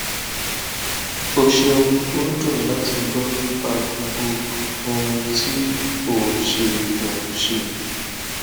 o ṣeun o dun lati gbọ nipa gbogbo ohun ti o n ṣe o n ṣe